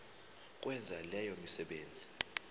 ukwenza leyo misebenzi